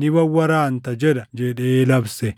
ni wawwaraanta’ jedha” jedhee labse.